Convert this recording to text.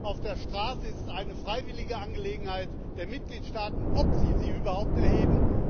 Auf der Straße ist es eine freiwillige Angelegenheit der Mitgliedstaaten, ob sie sie überhaupt erheben.